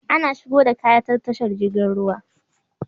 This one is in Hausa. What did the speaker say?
Ana shigo da kaya ta tashar jirgin ruwa